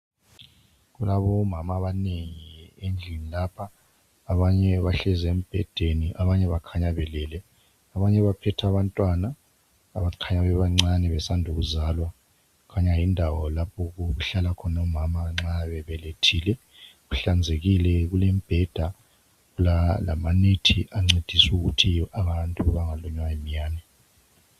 Kulabomama abanengi endlini lapha abanye bahlezi embhedeni abanye bakhanya belele, abanye baphethe abantwana abakhanya bebancane besanda ukuzalwa kukhanya yindawo lapho okuhlala omama nxa bebelethile kuhlanzekile kulembheda lama net ancedisa ukuthi abantu bengalunywa iminyane.